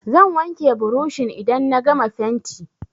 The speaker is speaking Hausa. Zan wanke burushin idan na gama fenti.